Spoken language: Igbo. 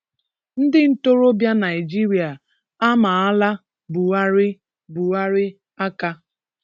Ndị ntorobịa Naịjirịa amaala Buhari Buhari aka